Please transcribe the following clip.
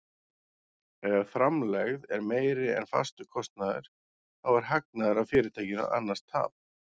Ef framlegð er meiri en fastur kostnaður þá er hagnaður af fyrirtækinu, annars tap.